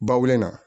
Ba wolo in na